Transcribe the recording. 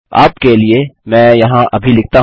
आपके लिए मैं यहाँ अभी लिखता हूँ